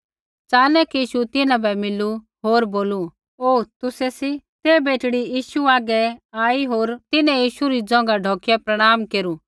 च़ानक यीशु तिन्हां बै मिलू होर बोलू ओहो तुसै सी ते बेटड़ी यीशु हागै आई होर तिन्हैं यीशु री ज़ोंघा ढौकिया प्रणाम केरु